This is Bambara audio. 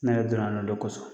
Ne yɛrɛ don na la o de kɔsɔn.